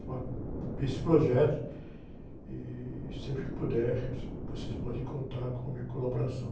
desse projeto e sempre que eu puder, você, vocês podem contar com a minha colaboração.